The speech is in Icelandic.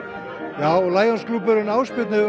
já Lions klúbburinn Ásbjörn hefur